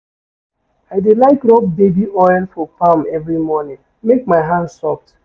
I dey like rob baby oil for palm every morning make my hand soft.